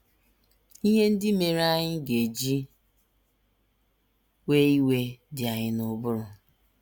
Ihe ndị mere anyị ga - eji wee iwe dị anyị n’ụbụrụ....